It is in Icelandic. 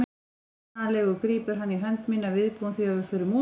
Mannalegur grípur hann í hönd mína, viðbúinn því að við förum út.